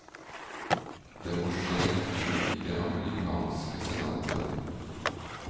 Det må skje i det amerikanske senatet.